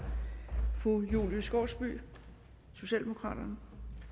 fru julie skovsby socialdemokraterne